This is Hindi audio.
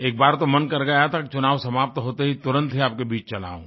एक बार तो मन कर गया था कि चुनाव समाप्त होते ही तुरंत ही आपके बीच ही चला आऊँ